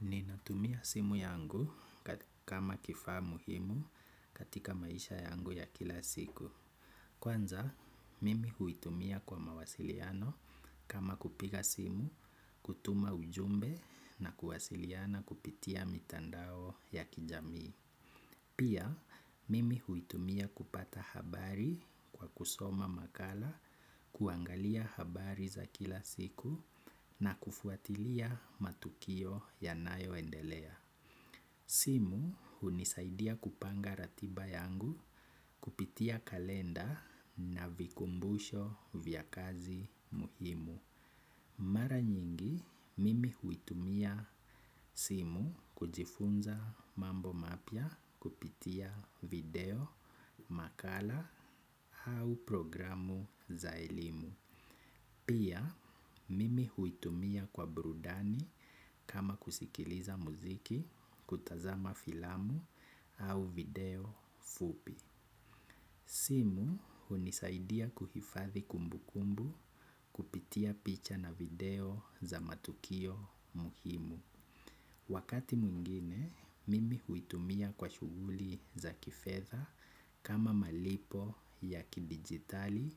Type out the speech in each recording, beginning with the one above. Ninatumia simu yangu kama kifaa muhimu katika maisha yangu ya kila siku. Kwanza, mimi huitumia kwa mawasiliano kama kupiga simu, kutuma ujumbe na kuwasiliana kupitia mitandao ya kijamii. Pia, mimi huitumia kupata habari kwa kusoma makala kuangalia habari za kila siku na kufuatilia matukio yanayoendelea. Simu hunisaidia kupanga ratiba yangu kupitia kalenda na vikumbusho vya kazi muhimu. Mara nyingi mimi huitumia simu kujifunza mambo mapya kupitia video, makala au programu za elimu. Pia mimi huitumia kwa burudani kama kusikiliza muziki, kutazama filamu au video fupi. Simu hunisaidia kuhifadhi kumbukumbu kupitia picha na video za matukio muhimu. Wakati mwingine, mimi huitumia kwa shughuli za kifedha kama malipo ya kidigitali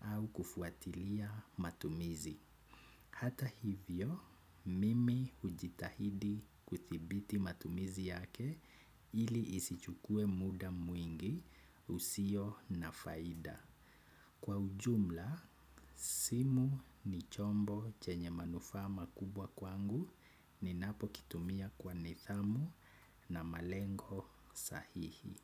au kufuatilia matumizi. Hata hivyo, mimi hujitahidi kuthibiti matumizi yake ili isichukue muda mwingi usio na faida. Kwa ujumla, simu ni chombo chenye manufaa makubwa kwangu ninapokitumia kwa nidhamu na malengo sahihi.